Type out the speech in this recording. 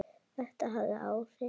Þetta hafði áhrif.